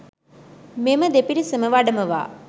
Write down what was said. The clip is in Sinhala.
මෙම දෙපිරිසම වඩමවා